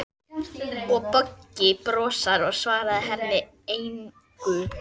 Og Beggi brosir, en svarar henni engu.